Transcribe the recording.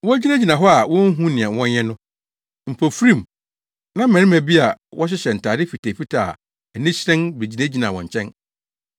Wogyinagyina hɔ a wonhu nea wɔnyɛ no, mpofirim na mmarima baanu bi a wɔhyehyɛ ntade fitafitaa a ani hyerɛn begyinagyinaa wɔn nkyɛn.